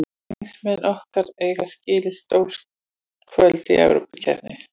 Stuðningsmenn okkar eiga skilið stór kvöld í Evrópukeppni.